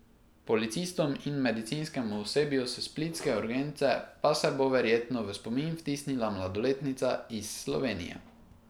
Policistom in medicinskemu osebju s splitske urgence pa se bo verjetno v spomin vtisnila mladoletnica iz Slovenije.